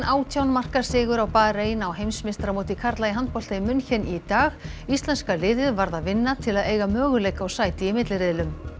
átján marka sigur á Barein á heimsmeistaramóti karla í handbolta í München í dag íslenska liðið varð að vinna til að eiga möguleika á sæti í milliriðlum